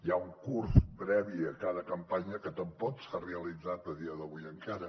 hi ha un curs previ a cada campanya que tampoc s’ha realitzat a dia d’avui encara